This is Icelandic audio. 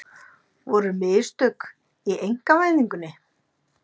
Voru mistök í einkavæðingunni?